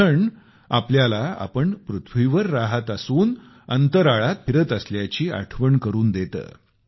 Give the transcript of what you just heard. ग्रहण आपल्याला आपण पृथ्वीवर राहत असून अंतराळात फिरत असल्याची आठवण करून देते